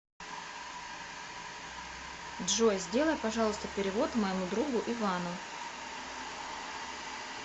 джой сделай пожалуйста перевод моему другу ивану